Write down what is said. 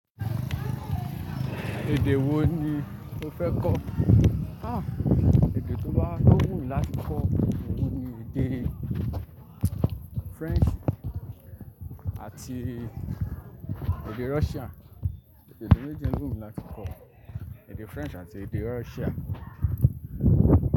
Èdè wo ni o fẹ́ kọ́? Ah, èdè tó bá, to wù mí láti kọ́ òun ni èdè French àti èdè Russia. Èdè méjì yen lo wù mí láti kọ́, èdè French àti èdè Russia.